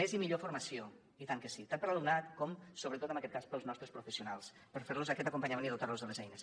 més i millor formació i tant que sí tant per a l’alumnat com sobretot en aquest cas per als nostres professionals per fer los aquest acompanyament i dotar los de les eines